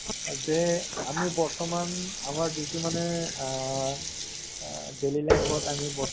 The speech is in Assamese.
নাম্তো টো আহ ৰূপালী cinema hall নেকি।